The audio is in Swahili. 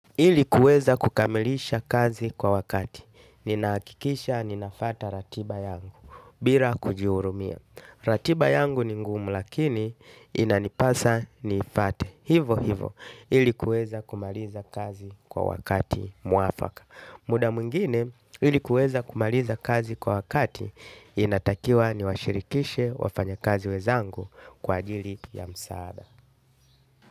Ilikuweza kukamilisha kazi kwa wakati. Ninaakikisha ninafuata ratiba yangu. Bira kujiurumia. Ratiba yangu ni ngumu lakini inanipasa niifate. Hivo hivo. Ilikuweza kumaliza kazi kwa wakati muafaka. Muda mungine ilikuweza kumaliza kazi kwa wakati inatakiwa ni washirikishe wafanya kazi wezangu kwa ajili ya msaada.